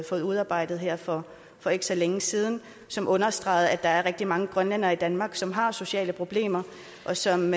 fået udarbejdet her for for ikke så længe siden og som understregede at der er rigtig mange grønlændere i danmark som har sociale problemer og som